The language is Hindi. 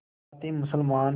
साथ ही मुसलमान